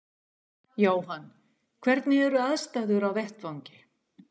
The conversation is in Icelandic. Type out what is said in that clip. Jóhann: Hvernig eru aðstæður á vettvangi?